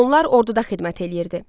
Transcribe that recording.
Onlar orduda xidmət eləyirdi.